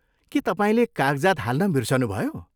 के तपाईँले कागजात हाल्न बिर्सनुभयो?